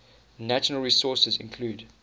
natural resources include